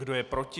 Kdo je proti?